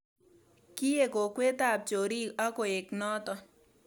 Kiek kokwetab chorik ak koek notok